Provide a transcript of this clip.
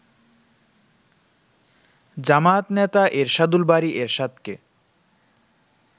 জামায়াত নেতা এরশাদুল বারী এরশাদকে